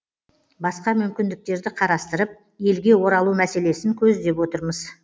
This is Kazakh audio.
басқа мүмкіндіктерді қарастырып елге оралу мәселесін көздеп отырмыз